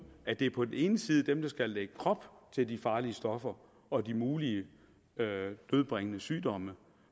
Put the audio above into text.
at det på den ene side er dem der skal lægge krop til de farlige stoffer og de mulige dødbringende sygdomme